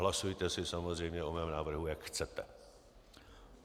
Hlasujte si samozřejmě o mém návrhu, jak chcete.